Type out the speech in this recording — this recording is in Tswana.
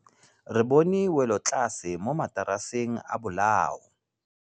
Re bone wêlôtlasê mo mataraseng a bolaô.